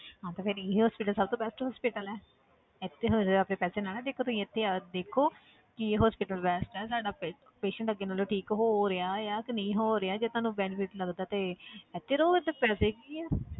ਹਾਂ ਤੇ ਫਿਰ ਇਹੀ hospital ਸਭ ਤੋਂ best hospital ਹੈ ਇੱਥੇ ਤਾਂ ਹੁਣ ਜ਼ਿਆਦਾ ਆਪਣੇ ਪੈਸੇ ਨਾ ਨਾ ਦੇਖੋ ਤੁਸੀਂ ਇੱਥੇ ਦੇਖੋ ਕਿ hospital best ਹੈ ਤੁਹਾਡਾ ਪੇ~ patient ਅੱਗੇ ਨਾਲੋਂ ਠੀਕ ਹੋ ਰਿਹਾ ਆ ਕਿ ਨਹੀਂ ਹੋ ਰਿਹਾ ਜੇ ਤੁਹਾਨੂੰ benefit ਲੱਗਦਾ ਤੇ ਇੱਥੇ ਰਹੋ ਇੱਥੇ ਪੈਸੇ ਕੀ ਆ